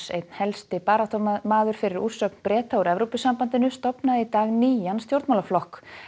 einn helsti baráttumaður fyrir úrsögn Breta úr Evrópusambandinu stofnaði í dag nýjan stjórnmálaflokk